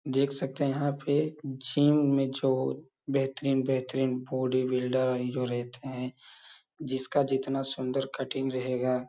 देख सकते हैं यहाँ पे जीम में जो बेहतरीन-बेहतरीन बॉडी बिल्डर और ये जो रहते हैं जिसका जितना सुन्दर कट्टिंग रहेगा --